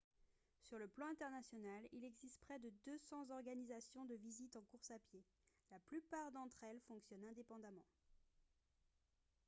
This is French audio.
sur le plan international il existe près de 200 organisations de visite en course à pied la plupart d'entre elles fonctionnent indépendamment